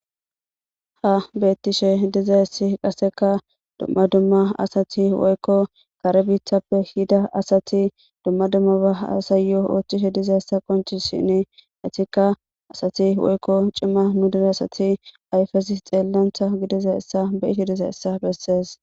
Ha beettishe diza issi qaseka dumma dumma asati woykko kare biithappe hida asati dumma dummaba asayo oothchishe diza ssa qonci shinne etikka asati woykko cima nu dida asati ayfesi xeellantha gidiza issa beyiti diza issa bessees.